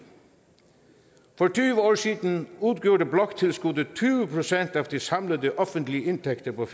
for tyve år siden udgjorde bloktilskuddet tyve procent af de samlede offentlige indtægter på